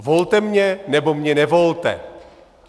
Volte mě, nebo mě nevolte.